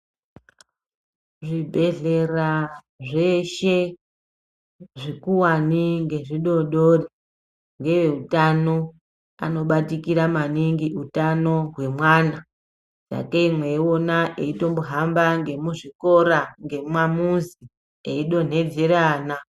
Zvibhehleya zveshe zvikuwane ngezvidodori ngeutano anobatikira maningi utano hwemwana sakani meiona eitombohamba muzvikora ngemumuzi eidonhedzera vana.